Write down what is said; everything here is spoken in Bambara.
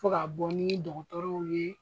Fɔ ka bɔ ni dɔgɔtɔrɔw ye